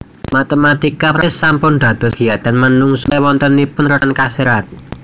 Matématika praktis sampun dados kagiyatan manungsa milai wontenipun rekaman kaserat